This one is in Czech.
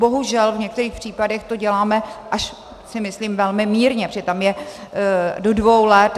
Bohužel v některých případech to děláme, až si myslím, velmi mírně, protože tam je do dvou let.